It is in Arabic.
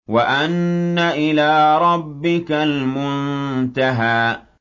وَأَنَّ إِلَىٰ رَبِّكَ الْمُنتَهَىٰ